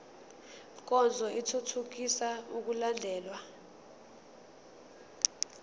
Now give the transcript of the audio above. nkonzo ithuthukisa ukulandelwa